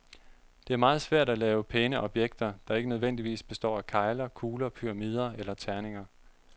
Det er meget svært at lave pæne objekter, der ikke nødvendigvis består af kegler, kugler, pyramider eller terninger.